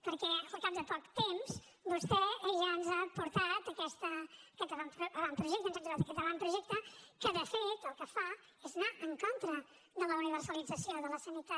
perquè al cap de poc temps vostè ja ens ha portat aquest avantprojecte ens hem trobat aquest avantprojecte que de fet el que fa és anar en contra de la universalització de la sanitat